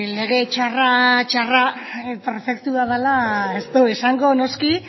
lege txarra perfektua dela ez dugu esango noski